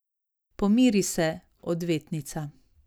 Pomiri se, odvetnica.